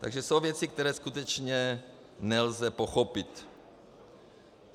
Takže jsou věci, které skutečně nelze pochopit.